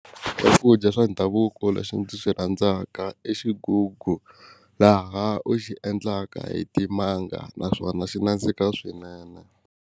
Swakudya swa ndhavuko lexi ndzi xi rhandzaka i xigugu laha u xi endlaka hi timanga naswona xi nandzika swinene.